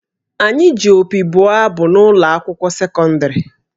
Anyị ji opi bụọ abụ n’ụlọ akwụkwọ sekọndịrị